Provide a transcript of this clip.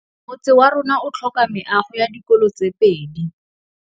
Motse warona o tlhoka meago ya dikolô tse pedi.